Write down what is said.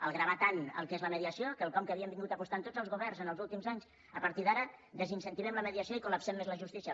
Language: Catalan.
al gravar tant el que és la mediació quelcom que havien vingut apostant tots els governs en els últims anys a partir d’ara desincentivem la mediació i col·lapsem més la justícia